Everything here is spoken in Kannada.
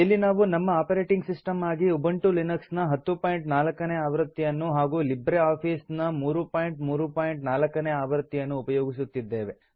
ಇಲ್ಲಿ ನಾವು ನಮ್ಮ ಆಪರೇಟಿಂಗ್ ಸಿಸ್ಟಮ್ ಆಗಿ ಉಬುಂಟು ಲಿನಕ್ಸ್ ನ 1004 ನೇ ಆವೃತ್ತಿಯನ್ನು ಹಾಗೂ ಲಿಬ್ರೆ ಆಫೀಸ್ ನ 334 ನೇ ಆವೃತ್ತಿಯನ್ನು ಉಪಯೋಗಿಸುತ್ತಿದ್ದೇವೆ